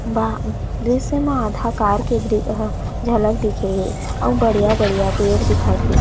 बाहर दृश्य मे आधा कार के दृ ह झलक दिखे हे अउ बढ़िया-बढ़िया पेड़ दिखत हे।